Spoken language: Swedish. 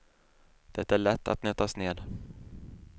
Det är lätt att nötas ned.